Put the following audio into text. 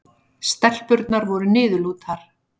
Stelpurnar voru niðurlútar.